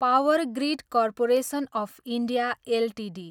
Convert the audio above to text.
power grid corporation of India Ltd